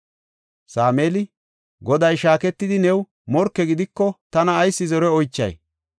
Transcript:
Sameeli, “Goday shaaketidi new morke gidiko tana ayis zore oychay?